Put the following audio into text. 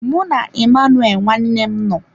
Mụ na Emmanuel nwanne m nọ.